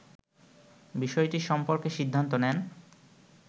বিষয়টি সম্পর্কে সিদ্ধান্ত নেন